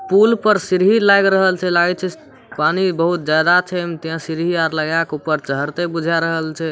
पुल पर सीढ़ी लाएग रहल छै लागे छै पानी बहुत ज्यादा छै उमे ते सीढ़ी आर लगा के ऊपर चहड़ते बुझा रहल छै।